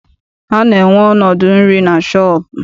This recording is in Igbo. A na-enwe ọnọdụ nri na shọọpụ.